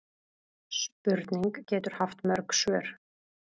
Spurning getur haft mörg svör.